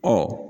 Ɔ